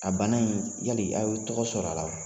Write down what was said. A bana in yali aw ye tɔgɔ sɔrɔ a la